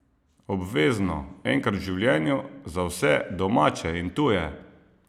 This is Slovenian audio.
Obvezno, enkrat v življenju, za vse, domače in tuje!